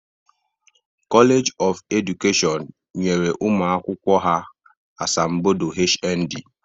College of Education nyere ụmụ akwụkwọ ha asambodo HND